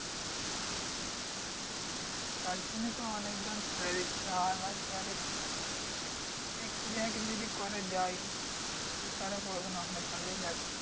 তার জন্যই তো অনেকজন ছেড়ে দিচ্ছে আর যার একটুখানি দেখছে যে, হ্যাঁ কিছু যদি করা যায় শুধু তারা পড়াশোনা এখনো চালিয়ে যাচ্ছে।